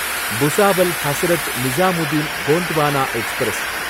Bhusawal Hazrat Nizamuddin Gondwana express